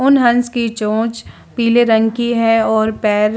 उन हंस की चोंच पीले रंग की है और पैर --